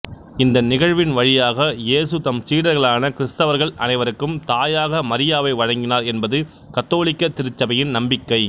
இந்த நிகழ்வின் வழியாக இயேசு தம் சீடர்களான கிறிஸ்தவர்கள் அனைவருக்கும் தாயாக மரியாவை வழங்கினார் என்பது கத்தோலிக்க திருச்சபையின் நம்பிக்கை